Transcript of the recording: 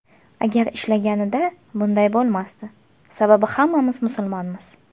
Agar ishlaganida, bunday bo‘lmasdi, sababi hammamiz musulmonmiz.